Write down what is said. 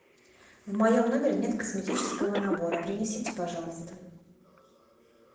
в моем номере нет косметического набора принесите пожалуйста